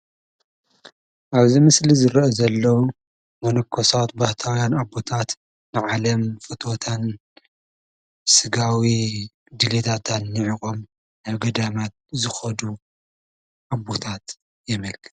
ኣብዚ ምስሊ ዚ ዝረአ ዘሎ መኖኮሳት፣ ባሕታውያን ኣቦታት ኣብ ዓለም ፍትወታን ስጋ ድሌታትን ኒዒቆም ናብ ገዳም ዝኸዱ ኣቦታት የመልክት።